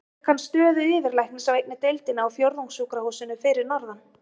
Svo fékk hann stöðu yfirlæknis á einni deildinni á Fjórðungssjúkrahúsinu fyrir norðan.